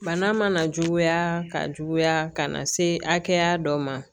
Bana mana juguya ka juguya ka na se hakɛya dɔ ma